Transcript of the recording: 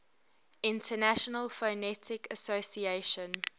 international phonetic association